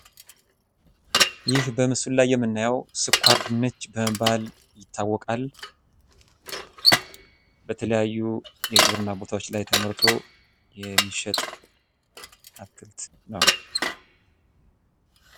ይህ በምስሉ ላይ የምንመለከተው ስኳር ድንች በመባል ይታወቃል ።በትለያየ እርሻ ቦታ ላይ ተመርቶ የሚሸጥ ነው ።